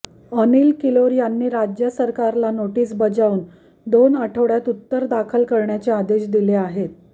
अनिल किलोर यांनी राज्य सरकारला नोटीस बजावून दोन आठवड्यात उत्तर दाखल करण्याचे आदेश दिले आहेत